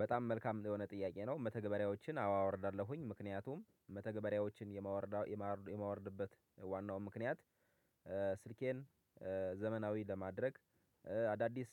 በጣም መልካም የሆነ ጥያቄ ነው። መተግበሪያዎችን አወርዳለሁኝ ምክንያቱም መተግበሪያዎችን የማወርድ የማወርድበት ዋናው ምክንያት ስልኬን ዘመናዊ ለማድረግ አዳዲስ